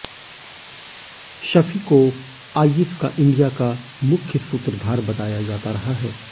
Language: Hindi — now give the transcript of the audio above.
शफी को आईएस का इंडिया का मुख्य सूत्रधार बताया जाता रहा है